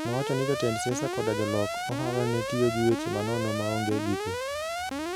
Nowacho ni jotend siasa koda jolok ohala ne tiyo gi weche manono maonge giko".